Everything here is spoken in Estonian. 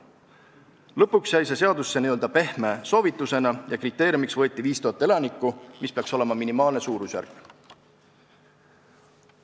Lõpuks jäi see seadusesse n-ö pehme soovitusena ja kriteeriumiks võeti 5000 elanikku, mis peaks olema minimaalne suurusjärk.